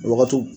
Wagatiw